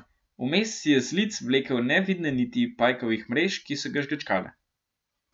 Vmes si je z lic vlekel nevidne niti pajkovih mrež, ki so ga žgečkale.